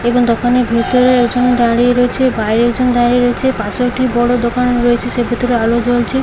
এবং দোকানের ভিতরে একজন দাঁড়িয়ে রয়েছে বাইরে একজন দাঁড়িয়ে রয়েছে পাশেও একটি বড় দোকান রয়েছে সের ভিতরে আলো জ্বলছে ।